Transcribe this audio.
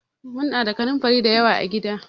Muna da kanunfari da yawa a gida.